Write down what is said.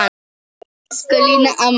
Elsku Lína amma.